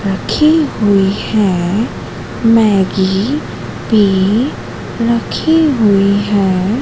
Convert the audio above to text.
रखी हुई है मैगी भी रखी हुई है।